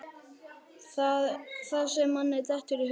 Það sem manni dettur í hug!